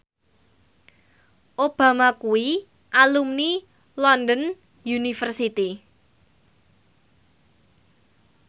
Obama kuwi alumni London University